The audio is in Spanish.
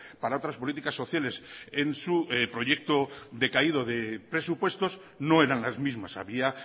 para otras políticas sociales en su proyecto decaído de presupuestos no eran las mismas había